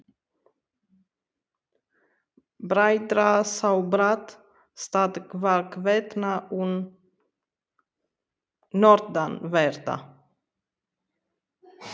Starfi Grimms-bræðra sá brátt stað hvarvetna um norðanverða